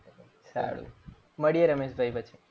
સારુ મળીએ રમેશભાઈ પછી.